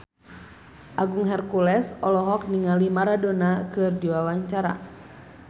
Agung Hercules olohok ningali Maradona keur diwawancara